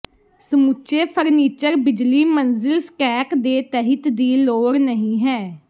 ਸਮੁੱਚੇ ਫਰਨੀਚਰ ਬਿਜਲੀ ਮੰਜ਼ਿਲ ਸਟੈਕ ਦੇ ਤਹਿਤ ਦੀ ਲੋੜ ਨਹੀ ਹੈ